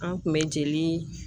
An' kun bɛ jeli